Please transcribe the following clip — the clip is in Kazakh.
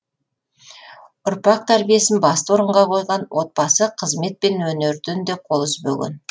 ұрпақ тәрбиесін басты орынға қойған отбасы қызмет пен өнерден де қол үзбеген